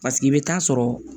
Paseke i bɛ taa sɔrɔ